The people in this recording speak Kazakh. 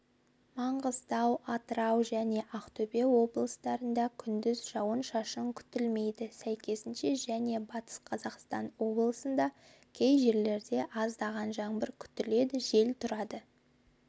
маңғыстау атырау және ақтөбе облыстарында күндіз жауын-шашын күтілмейді сәйкесінше және батыс қазақстан облысында кей жерлерде аздаған жаңбыр күтіледі жел тұрады